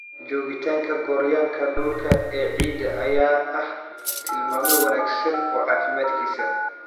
Joogitaanka gooryaanka dhulka ee ciidda ayaa ah tilmaame wanaagsan oo caafimaadkiisa.